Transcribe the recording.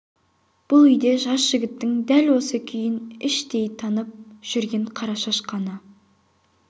бұл үйде жас жігіттің дәл осы күйін іштей танып жүрген қарашаш қана